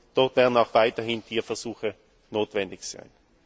Dafür werden auch weiterhin Tierversuche notwendig sein!